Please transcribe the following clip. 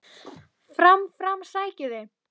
Fram, fram, sækið þið!